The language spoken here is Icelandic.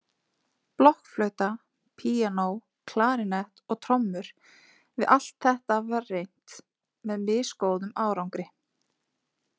Blokkflauta, píanó, klarínett og trommur, við allt þetta var reynt með misgóðum árangri.